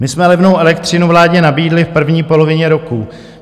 "My jsme levnou elektřinu vládě nabídli v první polovině roku.